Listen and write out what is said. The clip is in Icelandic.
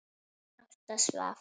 Ásta svaf.